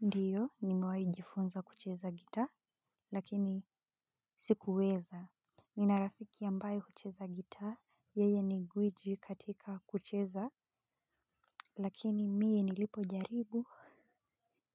Ndiyo nimewahi jifunza kucheza gitaa lakini sikuweza. Nina rafiki ambaye hucheza gitaa. Yeye ni gwiji katika kucheza. Lakini mie nilipojaribu